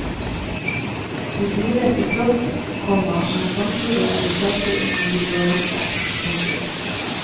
De trives i flokk, komma men samtidig er de sterke individualister. punktum